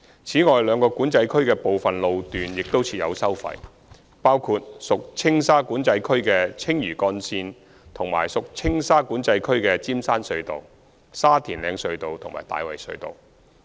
此外，兩個管制區的部分路段亦設有收費，包括屬青馬管制區的青嶼幹線和屬青沙管制區的尖山隧道、沙田嶺隧道及大圍隧道。